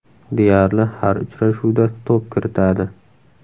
Deyarli har uchrashuvda to‘p kiritadi.